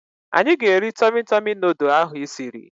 Anyị ga-eri Tọmị Tọmị nudụ ahụ ị siri